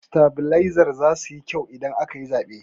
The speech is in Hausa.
Sitabilezar zasu yi kyau idan aka yi zaɓe.